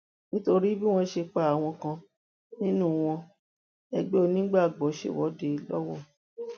nítorí bí wọn ṣe pa àwọn kan nínú wọn ẹgbẹ onígbàgbọ ṣèwọde lọwọ